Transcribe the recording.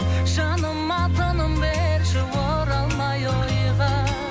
жаныма тыным берші оралмай ойға